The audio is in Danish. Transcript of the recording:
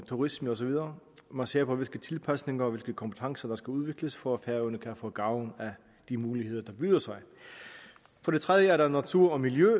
turisme og så videre man ser på hvilke tilpasninger og hvilke kompetencer der skal udvikles for at færøerne kan få gavn af de muligheder der byder sig for det tredje er der natur og miljø